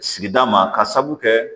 Sigida ma ka sabu kɛ